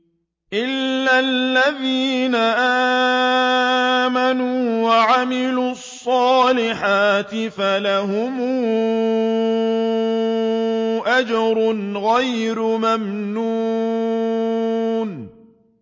إِلَّا الَّذِينَ آمَنُوا وَعَمِلُوا الصَّالِحَاتِ فَلَهُمْ أَجْرٌ غَيْرُ مَمْنُونٍ